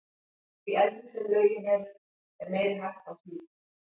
Því eldri sem lögin eru, er meiri hætta á slíku.